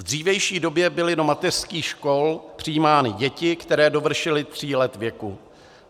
V dřívější době byly do mateřských škol přijímány děti, které dovršily tří let věku.